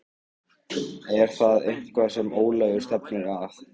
Er það eitthvað sem Ólafur stefnir að?